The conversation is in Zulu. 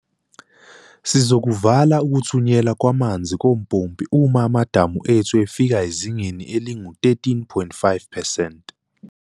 "Sizokuvala ukuthunyelwa kwamanzi kompompi uma amadamu ethu efika ezingeni elingu-13.5 percent."